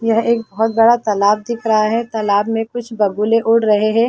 यह एक बहुत बड़ा तालाब दिख रहा है तालाब में कुछ बगुले उड़ रहे हैं ।